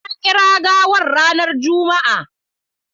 Na kira gawar ranar Juma'a.